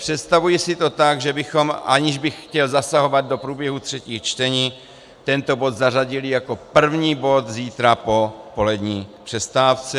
Představuji si to tak, že bychom - aniž bych chtěl zasahovat do průběhu třetích čtení - tento bod zařadili jako první bod zítra po polední přestávce.